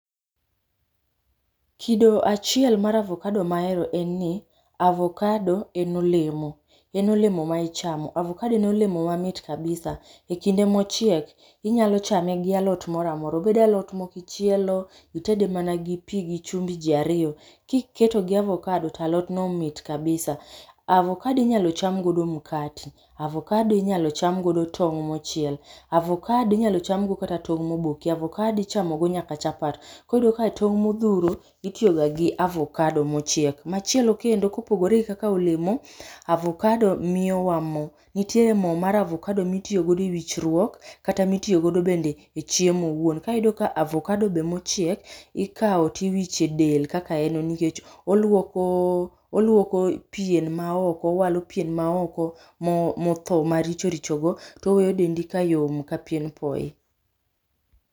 Kido achiel mar avokado mahero en ni avokado en olemo. En olemo ma ichamo, avokado en olemo mamit kabisa. Ekinde mochiek inyalo chame gi alot moro amora, obed alot mokichielo itede mana gi pi gi chumbi jii ariyo, kiketo gi avokado to omit kabisa. Avokado inyalo cham godo mkate, avokado inyalo chamogi tong mochiel, avokado inyalo cham go kat atong moboki. Avokado ichamo go kata chapat. Koro iyudo ni tong' modhuro itigo ga gi avokado mochiek. Machielo kendo kopogore gi kaka olemo avokado miyo wa moo, nitie avokado mitiyo go e wichruok kata mitiyo go bende chiemo owuon. Koro iyudo ka avokado be mochiek ikao tiwicho e del kaka en nikech oluoko, oluoko pien ma oko, owalo pien ma oko motho maricho richo go towe dendi ka yom ka pien poi